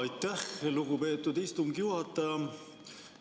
Aitäh, lugupeetud istungi juhataja!